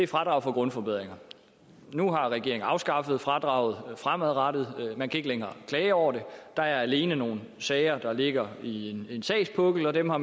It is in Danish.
fradrag for grundforbedringer nu har regeringen afskaffet fradraget fremadrettet man kan ikke længere klage over det der er alene nogle sager der ligger i en sagspukkel og dem har